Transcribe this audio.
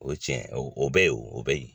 O ye tiɲɛ ye o o bɛ yen o bɛ yen